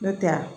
N'o tɛ